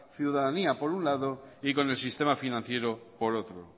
ciudadanía por un lado y con el sistema financiero por otro